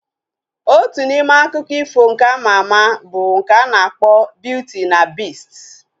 Otu n'ime akụkọ ifo nke ama ama bụ nke a na-akpọ Biuti na Bist